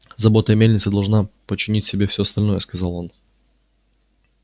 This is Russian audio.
забота о мельнице должна подчинить себе всё остальное сказал он